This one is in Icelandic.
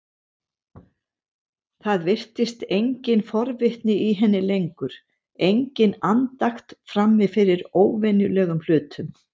Það virtist engin forvitni í henni lengur, engin andakt frammi fyrir óvenjulegum hlutum.